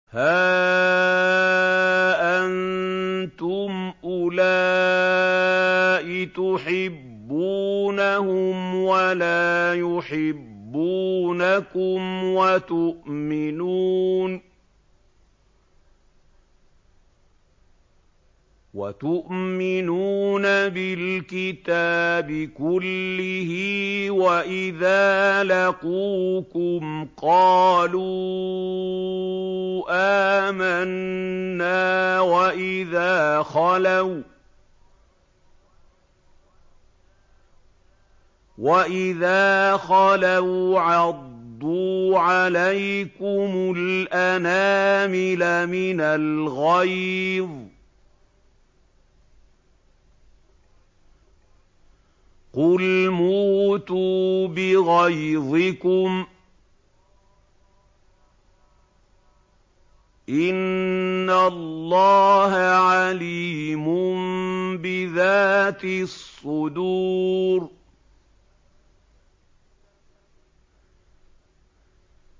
هَا أَنتُمْ أُولَاءِ تُحِبُّونَهُمْ وَلَا يُحِبُّونَكُمْ وَتُؤْمِنُونَ بِالْكِتَابِ كُلِّهِ وَإِذَا لَقُوكُمْ قَالُوا آمَنَّا وَإِذَا خَلَوْا عَضُّوا عَلَيْكُمُ الْأَنَامِلَ مِنَ الْغَيْظِ ۚ قُلْ مُوتُوا بِغَيْظِكُمْ ۗ إِنَّ اللَّهَ عَلِيمٌ بِذَاتِ الصُّدُورِ